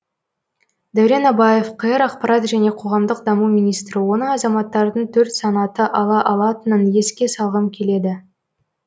дәурен абаев қр ақпарат және қоғамдық даму министрі оны азаматтардың төрт санаты ала алатынын еске салғым келеді